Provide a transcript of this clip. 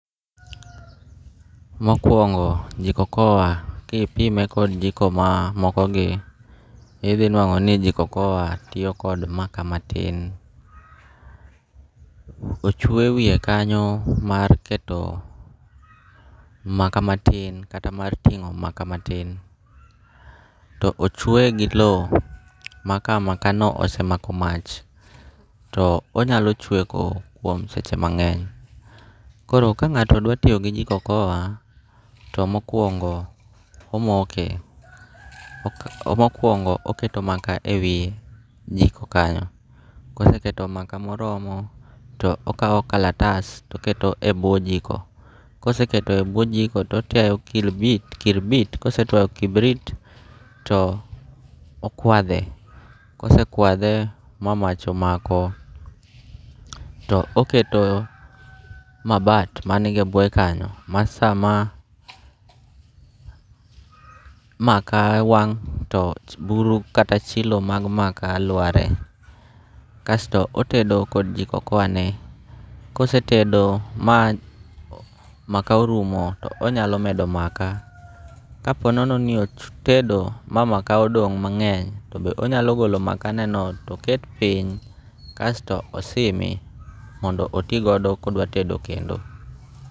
Mokuongo' jiko okoa kipime kod jiko maa mokogi ithinwango' ni jiko okoa tiyo kod makaa matin, ochwe wiye kanyo mar keto makaa matin kata mar tingo' makaa matin, to ochweye gi lowo ma ka makaano osemako mach to onyalo chweko kuom seche mange'ny, koro ka nga'to dwa tiyo gi joko okoa to mokuongo omoke, mokuongo oketo maaka e wiye e jiko kanyo, koseketo maaka moromo to okawo kalatas to oketo e bwo jiko to otiayo kibri to kosetiayo kibrit tio okwathe, kosekwathe ma mach omako to oketo mabati maniga e bwoye kanyo ma sama maaka wang' to buru kata chilo mag maaka lware, kasto otedo kod jiko okoane, kosetedo ma maaka orumo to onyalo medo maaka, ka po nono ni otedo ma maaka odong' mange'ny to be onyalo golo maakaneno to oket piny kasto osimi mondo oti godo ka odwatedo kendo.